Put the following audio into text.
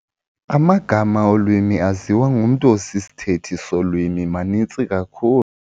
Amagama olwimi aziwa ngumntu osisithethi solwimi maninzi kakhulu.